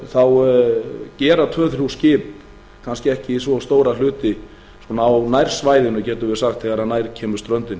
þá gera tvö til þrjú skip kannski ekki svo stóra hluta á nærsvæðinu getum við sagt þegar nær kemur ströndinni